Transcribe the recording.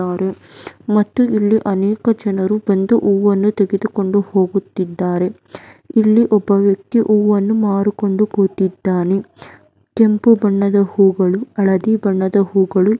ಮತ್ತು ಇಲ್ಲಿ ಅನೇಕ ಜನರು ಬಂದು ಹೂಗಳನ್ನು ತೆಗೆದುಕೊಂಡು ಹೋಗುತ್ತಿದ್ದಾರೆ. ಇಲ್ಲಿ ಒಬ್ಬ ವ್ಯಕ್ತಿ ಹೂವನ್ನು ಮಾರಿಕೊಂಡು ಕುಳಿತಿದ್ದಾನೆ. ಕೆಂಪು ಬಣ್ಣದ ಹೂಗಳು ಹಳದಿ ಬಣ್ಣದ ಹೂಗಳು ಇಲ್ಲಿ ಇದ್ದಾ --